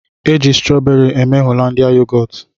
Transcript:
Eji strọọberị mee Holandịa yogọọt.